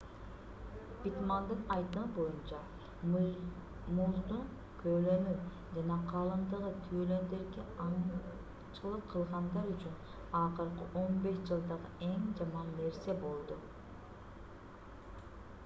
питтмандын айтымы боюнча муздун көлөмү жана калыңдыгы тюлендерге аңчылык кылгандар үчүн акыркы 15 жылдагы эң жаман нерсе болду